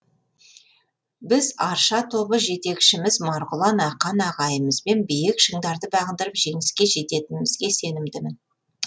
біз арша тобы жетекшіміз марғұлан ақан ағайымызбен биік шыңдарды бағындырып жеңіске жететінімізге сенімдімін